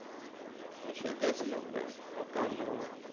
তো সে গেছিল, ব্যাস কোনও কাজ হল না।